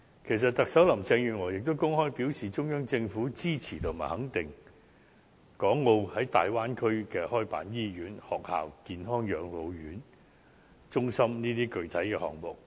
其實特首林鄭月娥也公開表示，中央政府支持和肯定港澳在大灣區開辦醫院、學校、健康養老中心等項目。